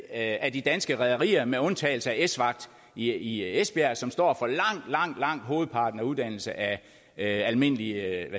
af de danske rederier med undtagelse af esvagt i esbjerg som står for langt langt hovedparten af uddannelsen af almindelige